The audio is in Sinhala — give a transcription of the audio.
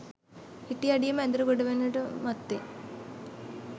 හිටි අඩියේම ඇඳට ගොඩවෙන්නට මත්තෙන්